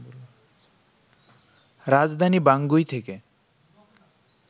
রাজধানী বাঙ্গুই থেকে